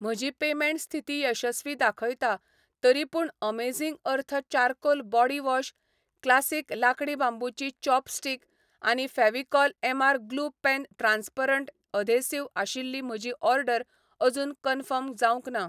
म्हजी पेमेंट स्थिती यशस्वी दाखयता, तरीपूण amazing earth charcoal body wash, classic लांकडी बांबूची चॉपस्टीक आनी Fevicol MR glue pen transparent adhesive आशिल्ली म्हजी ऑर्डर अजून कन्फर्म जावंक ना